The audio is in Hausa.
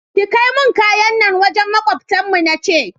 Ki kaimun kayan nan wajen makwabtan mu nace